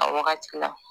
A wagati la